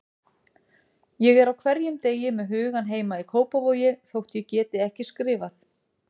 Ég er á hverjum degi með hugann heima í Kópavogi þótt ég geti ekki skrifað.